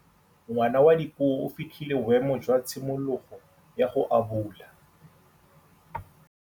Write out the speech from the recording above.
Ngwana wa Dipuo o fitlhile boêmô jwa tshimologô ya go abula.